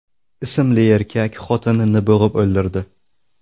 ismli erkak xotinini bo‘g‘ib o‘ldirdi.